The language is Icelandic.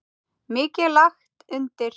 Mikið er lagt undir.